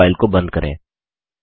अब इस फाइल को बंद करें